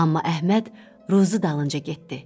Amma Əhməd ruzi dalınca getdi.